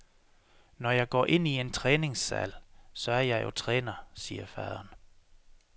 Når jeg går ind i en træningssal, så er jeg jo træner, siger faderen.